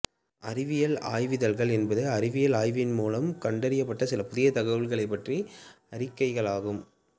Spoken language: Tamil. அறிவியல் ஆய்விதழ்கள் என்பது அறிவியல் ஆய்வின் மூலம் கண்டறியப்பட்ட சில புதிய தகவல்களைப் பற்றிய அறிக்கையாகும்